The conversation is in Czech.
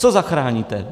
Co zachráníte?